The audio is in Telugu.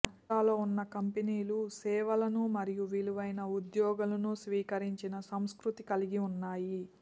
జాబితాలో ఉన్న కంపెనీలు సేవలను మరియు విలువైన ఉద్యోగులను స్వీకరించిన సంస్కృతిని కలిగి ఉన్నాయి